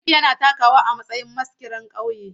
Sadik yana takawa a matsayin maskiran ƙauye.